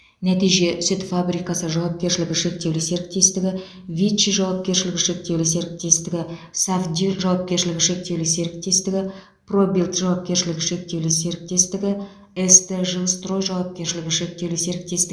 нәтиже сүт фабрикасы жауапкершілігі шектеулі серіктестігі виччи жауапкершілігі шектеулі серіктестігі сафди жауапкершілігі шектеулі серіктестігі пробилд жауапкершілігі шектеулі серіктестігі ст жилстрой жауапкершілігі шектеулі серіктестігі